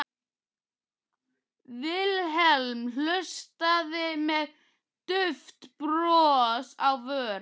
Vilhelm hlustaði með dauft bros á vör.